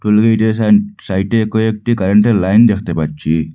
হলুদ এরিয়া সাই-সাইটে কয়েকটি কারেন্টের লাইন দেখতে পাচ্ছি।